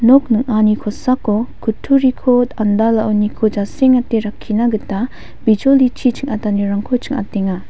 nok ning·ani kosako kutturiko andalaoniko jasengate rakkina gita bijolichi ching·atanirangko ching·atenga.